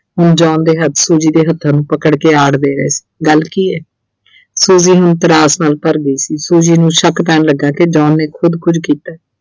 ਹੁਣ John ਦੇ ਹੱਥ Suji ਦੇ ਹੱਥਾਂ ਨੂੰ ਪਕੜ ਕੇ ਆੜ ਦੇ ਰਹੇ ਸੀ, ਗੱਲ ਕੀ ਐ Suji ਹੁਣ ਤਰਾਸ ਨਾਲ ਭਰ ਗਈ ਸੀ Suji ਨੂੰ ਸ਼ੱਕ ਪੈਣ ਲੱਗਾ ਕਿ John ਨੇ ਖੁਦ ਕੁਝ ਕੀਤਾ।